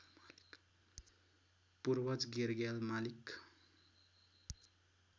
पूर्वज गेरग्याल मालिक